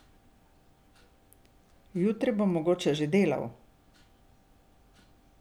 Jutri bom mogoče že delal.